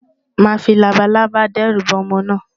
Màá fi labalábá dẹ́rù ba ọmọ náà.